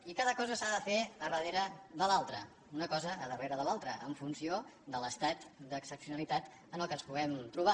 i cada cosa s’ha fer a darrere de l’altra una cosa darrere de l’altra en funció de l’estat d’excepcionalitat en què ens puguem trobar